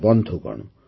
ବନ୍ଧୁଗଣ